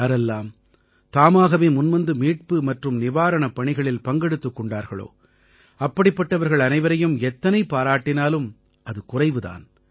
யாரெல்லாம் தாமாகவே முன்வந்து மீட்பு மற்றும் நிவாரணப் பணிகளில் பங்கெடுத்துக் கொண்டார்களோ அப்படிப்பட்டவர்கள் அனைவரையும் எத்தனை பாராட்டினாலும் அது குறைவு தான்